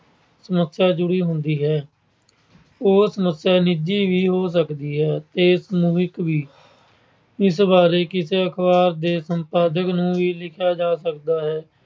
ਸਮੱਸਿਆ ਜੁੜੀ ਹੁੰਦੀ ਹੈ। ਉਹ ਸਮੱਸਿਆ ਨਿੱਜੀ ਵੀ ਹੋ ਸਕਦੀ ਹੈ ਤੇ ਸਮੂਹਿਕ ਵੀ। ਇਸ ਬਾਰੇ ਅਖਬਾਰ ਦੇ ਸੰਪਾਦਕ ਨੂੰ ਵੀ ਲਿਖਿਆ ਜਾ ਸਕਦਾ ਹੈ।